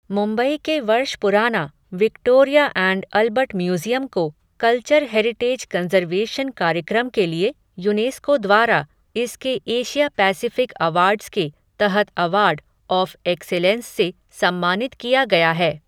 मुम्बई के वर्ष पुराना, विक्टोरिया ऐण्ड अलबट म्यूज़ियम को, कल्चर हेरिटेज कन्ज़र्वेशन कार्यक्रम के लिए, यूनेस्को द्वारा, इसके एशिया पैसिफ़िक अवाडर्स के, तहत अवार्ड, ऑफ़ एक्सेलेन्स से, सम्मानित किया गया है